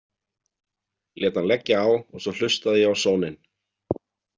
Lét hann leggja á og svo hlustaði ég á sóninn.